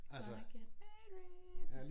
Gonna get married